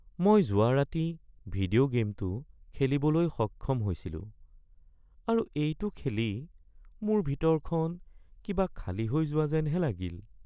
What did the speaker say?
মই যোৱা ৰাতি ভিডিঅ' গে'মটো খেলিবলৈ সক্ষম হৈছিলো আৰু এইটো খেলি মোৰ ভিতৰখন কিবা খালী হৈ যোৱা যেনহে লাগিল (জেনেৰেল জেড টু)